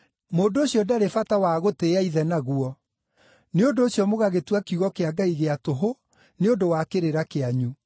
mũndũ ũcio ndarĩ bata wa ‘gũtĩĩa ithe’ naguo. Nĩ ũndũ ũcio mũgagĩtua kiugo kĩa Ngai gĩa tũhũ nĩ ũndũ wa kĩrĩra kĩanyu.